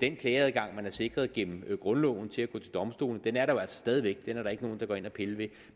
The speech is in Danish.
den klageadgang man er sikret gennem grundloven til at gå til domstolene jo stadig væk er er der ikke nogen der går ind og piller ved